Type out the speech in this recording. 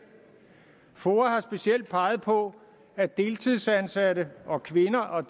foa har specielt peget på at deltidsansatte og kvinder og